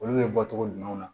Olu bɛ bɔ togo ɲumanw na